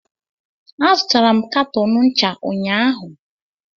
Azụtara m katọn ncha unyaahụ